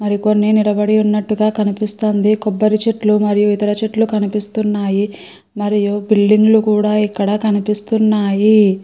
కొన్ని నిలబడి ఉన్నట్టుగా కనిపిస్తున్నాయి. కొబ్బరి చెట్లు మరియు ఇతర చెట్లు కనిపిస్తున్నాయి. మరియు బిల్డింగులు కూడా ఇక్కడ కనిపిస్తున్నాయి.